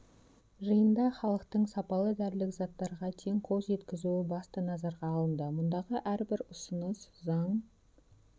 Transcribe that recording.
жиында халықтың сапалы дәрілік заттарға тең қол жеткізуі басты назарға алынды мұндағы әрбір ұсыныс заң